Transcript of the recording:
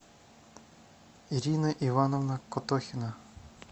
ирина ивановна котохина